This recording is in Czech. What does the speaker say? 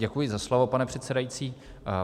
Děkuji za slovo, pane předsedající.